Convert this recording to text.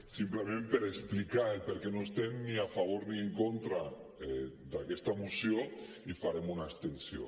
simplement per explicar per què no estem ni a favor ni en contra d’aquesta moció i farem una abstenció